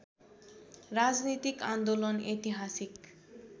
राजनीतिक आन्दोलन ऐतिहासिक